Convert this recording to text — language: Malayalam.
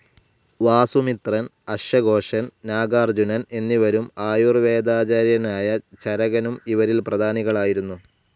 വാസു മിത്രൻ, അശ്വ ഗോഷൻ, നാഗാർജുനൻ എന്നിവരും ആയുർ വേദാചാര്യനായ ചരകനും അവരിൽ പ്രധാനികളായിരുന്നു.